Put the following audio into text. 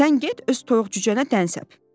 Sən get öz toyuq-cücənə dən səp."